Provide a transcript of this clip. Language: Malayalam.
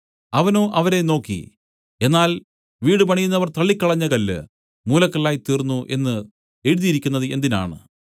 അവനോ അവരെ നോക്കി എന്നാൽ വീടുപണിയുന്നവർ തള്ളിക്കളഞ്ഞ കല്ല് മൂലക്കല്ലായിത്തീർന്നു എന്നു എഴുതിയിരിക്കുന്നത് എന്തിനാണ്